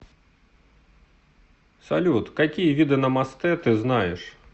салют какие виды намастэ ты знаешь